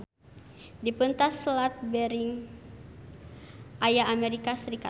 Di peuntas Selat Bering aya Amerika Sarikat.